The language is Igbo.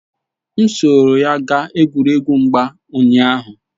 M soro ya gaa egwuregwu mgba ụnyaahụ